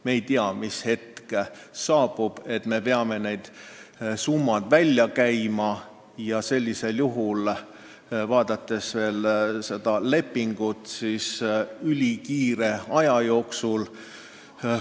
Me ei tea, millal saabub hetk, kui me peame need summad välja käima ja lepingu järgi otsustades veel ülilühikese aja jooksul.